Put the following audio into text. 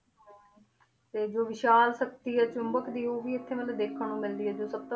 ਤੇ ਜੋ ਵਿਸ਼ਾਲ ਸ਼ਕਤੀ ਹੈ ਚੁੰਬਕ ਦੀ ਉਹ ਵੀ ਇੱਥੇ ਮਤਲਬ ਦੇਖਣ ਨੂੰ ਮਿਲਦੀ ਹੈ ਜੋ ਸਭ ਤੋਂ